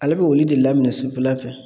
Ale bɛ olu de laminɛn sufɛla fɛ.